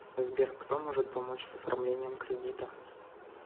сбер кто может помочь с оформлением кредита